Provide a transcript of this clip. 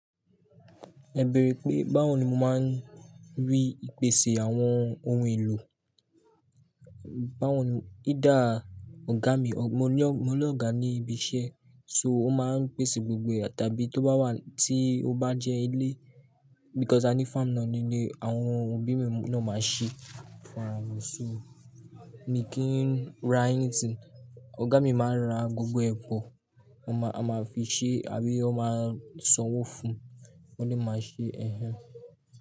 Ẹ beere pé báwo ni mo máa ń rí ìpèsè àwọn ohun èlò? Báwo ni? Either ọ̀gá mi, mo ní ọ̀gá ní ibi iṣẹ́ so ó máa ń pèsè gbogbo ẹ̀ tàbí tó bá wà tí ó bá jẹ́ ilé because I need farm náa nílé àwọn òbí mi náà máa ń ṣe fún ará wọn. So mi kì n ra anything. Ọ̀gá mi máa ń ra gbogbo ẹ po, ó máa fi ṣe àbí ó máa sanwó fún, wọ́n lè máa ṣe ẹ́.